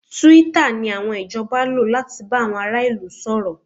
Twitter ni àwọn ìjọba lò láti bá àwọn ará ìlú sọ̀rọ̀